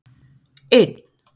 einn